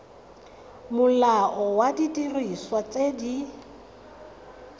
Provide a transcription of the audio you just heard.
molao wa didiriswa tse di